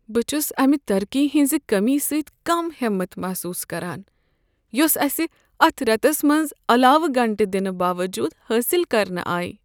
بہٕ چھس امہ ترقی ہنٛز کٔمی سۭتۍ کم ہٮ۪مت محسوس کران یۄس اسہ اتھ ریتس منٛز علاوٕ گنٛٹہ دِنہٕ باوجود حٲصل كرنہٕ آیہ ۔